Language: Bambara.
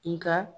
Nga